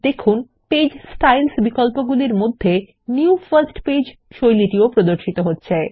দেখুন পৃষ্ঠা শৈলী বিকল্পগুলির মধ্যে নিউ ফার্স্ট পেজ শৈলী প্রদর্শিত হচ্ছে